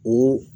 O